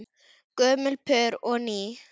Gömul pör og ný.